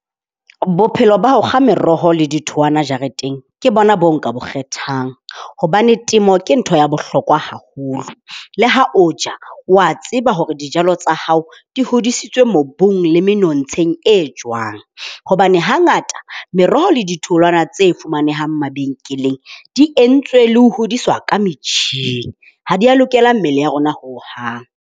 Bophelo ba ho kga meroho le dithowana jareteng, ke bona bo nka bo kgethang hobane temo ke ntho ya bohlokwa haholo. Le ha o ja, wa tseba hore dijalo tsa hao di hodisitswe mobung le menontsheng e jwang. Hobane hangata meroho le ditholwana tse fumanehang mabenkeleng di entswe le hodiswa ka metjhini, ha dia lokela mmele ya rona hohang.